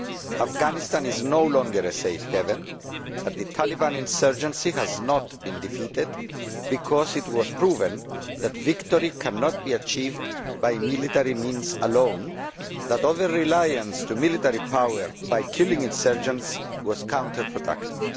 Afghanistan is no longer a safe haven but the Taliban insurgency has not been defeated because it was proven that victory cannot be achieved by military means alone and that over reliance on military power by killing insurgents was counterproductive.